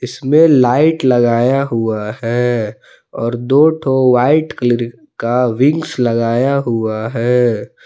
इसमें लाइट लगाया हुआ है और दो तो वाइट कलर का विंग्स लगाया हुआ है।